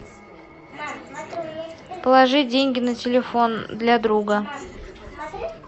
положи деньги на телефон для друга